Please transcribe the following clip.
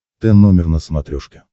т номер на смотрешке